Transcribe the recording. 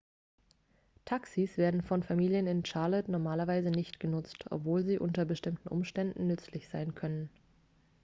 taxis werden von familien in charlotte normalerweise nicht genutzt obwohl sie unter bestimmten umständen nützlich sein können